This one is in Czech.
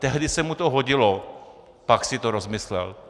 Tehdy se mu to hodilo, pak si to rozmyslel.